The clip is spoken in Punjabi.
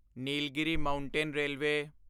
Nilgiri Mountain railway